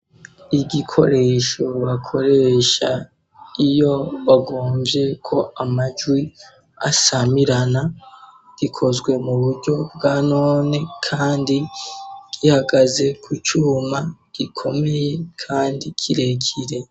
Igikoresho bakoresha iyo bagomvye ko amajwi ashamirana gikozwe mu buryo bwa none, kandi gihagaze ku cuma gikomeye, kandi kirekire.